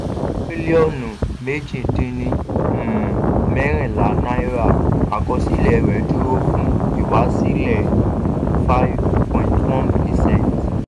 tírílíọ̀nù méjì dín ní um mẹ́rìnlá náírà àkọsílẹ̀ rẹ̀ dúró fún ìwásílẹ̀ five point one percent